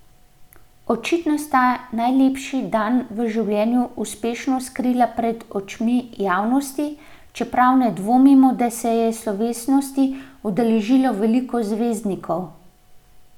Očitno sta najlepši dan v življenju uspešno skrila pred očmi javnosti, čeprav ne dvomimo, da se je slovesnosti udeležilo veliko zvezdnikov.